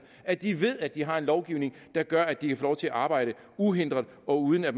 at de ved at de har en lovgivning der gør at de kan få lov til arbejde uhindret og uden at